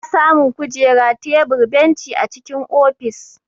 Ana samu Kujera, tebur, benci a cikin ofis.